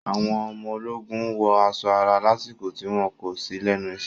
Àwọn ọmọ ológun wọ aṣọ ara lásìkò tí wọn kò sí lẹ́nu isẹ́.